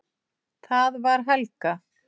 Það var Helga!